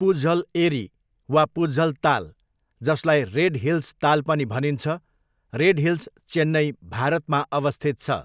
पुज्हल एरी वा पुज्हल ताल, जसलाई रेड हिल्स ताल पनि भनिन्छ, रेड हिल्स, चेन्नई, भारतमा अवस्थित छ।